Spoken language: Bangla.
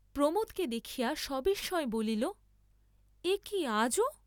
প্রমোদকে দেখিয়া সবিস্ময়ে বলিল, একি আজও!